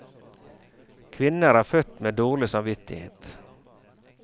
Kvinner er født med dårlig samvittighet.